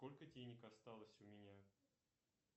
сколько денег осталось у меня